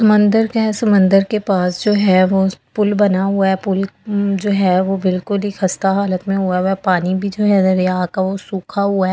मंदिर के समंदर के पास जो है वो पुल बना हुआ है पुल जो है वो बिल्कुल ही खस्ता हालत में हुआ है पानी भी जो है दरिया का वो सूखा हुआ है।